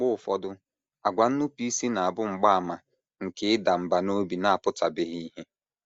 Mgbe ụfọdụ, àgwà nnupụisi na - abụ mgbaàmà nke ịda mbà n’obi na - apụtabeghị ìhè